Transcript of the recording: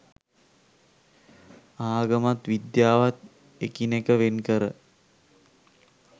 ආගමත් විද්‍යාවත් එකිනෙක වෙන් කර